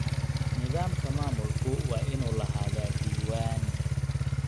Nidaamka maamulku waa inuu lahaadaa diiwaan.